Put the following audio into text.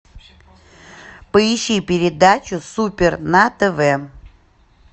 поищи передачу супер на тв